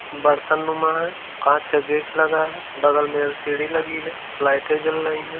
बरतन नुमा है। कांच का गेट लगा है। बगल में एलसीडी लगी है। लाइटें जल रहीं हैं।